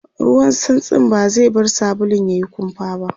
ruwan santsin ba zai bar sabulun yayi kumfa ba